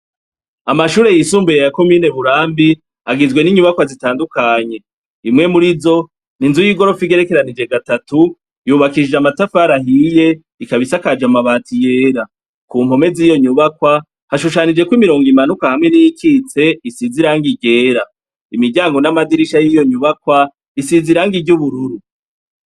Amashure yisumbuye yako mineburambi agijwe n'inyubakwa zitandukanye imwe muri zo ni nzu y'igorofe igerekeranije gatatu yubakishije amatafarahiye ikabaisakaje amabati yera ku nkome z'iyo nyubakwa hashushanijeko imirongo imanuka hamwe n'ikitse isizirango igera imiryango n'amadirisha y'iyonwba bakwa isiza iranga iryo ubururu.